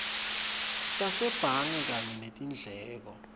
tasebhange kanye netindleko